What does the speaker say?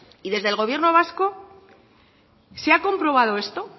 y desde el gobierno vasco se ha comprobado esto